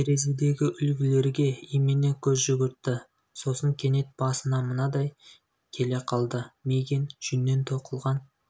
терезедегі үлгілерге имене көз жүгіртті сосын кенет басына мынадай келе қалды мигэн жүннен тоқылған